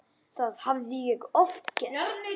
Það hafði ég oft gert.